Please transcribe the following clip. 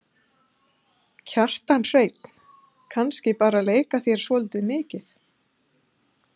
Kjartan Hreinn: Kannski bara leika þér svolítið mikið?